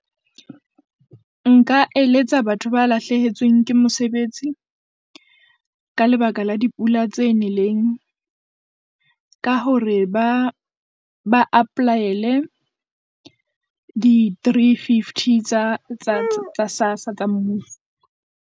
Nka eletsa batho ba lahlehetsweng ke mosebetsi, ka lebaka la dipula tse neleng, ka hore ba ba apply-ele di three fifty tsa Sassa tsa mmuso.